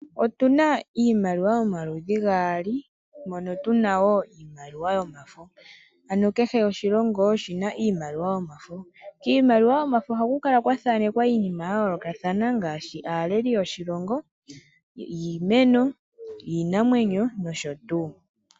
Otuna iimaliwa yomaludhi gaali, mono tuna wo iimaliwa yomafo, ano kehe oshilongo oshina iimaliwa yomafo. Kiimaliwa yomafo ohaku kala kwa thaanekwa iinima ya yoolokathana ngaashi aaleli yoshilongo, iimeno, iinamwenyo nosho tuu.